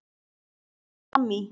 Líkt og fram í